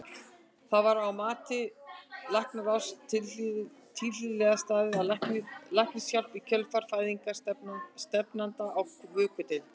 Var að mati læknaráðs tilhlýðilega staðið að læknishjálp í kjölfar fæðingar stefnanda á vökudeild?